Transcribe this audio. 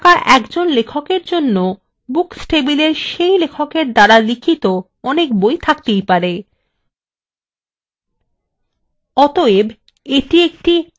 সুতরাং authors table থাকা একজন লেখকএর জন্য books table সেই লেখকএর দ্বারা লিখিত অনেক বই আছে থাকতেই পারে